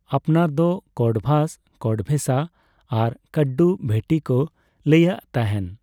ᱟᱯᱟᱱᱟᱨ ᱫᱚ ᱠᱚᱰᱵᱷᱟᱥ, ᱠᱚᱰᱵᱷᱮᱥᱟ ᱟᱨ ᱠᱟᱰᱰᱩᱵᱷᱮᱴᱴᱤ ᱠᱚ ᱞᱟᱹᱭᱟᱹᱜ ᱛᱟᱦᱮᱸᱱ ᱾